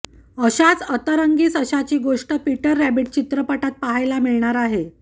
अशाच अतरंगी सशाची गोष्ट पीटर रॅबिट चित्रपटात पाहायला मिळणार आहे